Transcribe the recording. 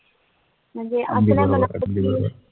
म्णजे